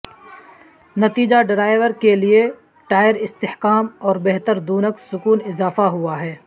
نتیجہ ڈرائیور کے لئے ٹائر استحکام اور بہتر دونک سکون اضافہ ہوا ہے